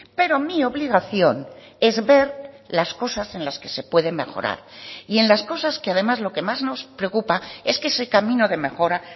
pero mi obligación es ver las cosas en las que se pueden mejorar y en las cosas que además lo que más nos preocupa es que ese camino de mejora